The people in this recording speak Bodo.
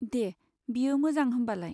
दे, बेयो मोजां होमबालाय।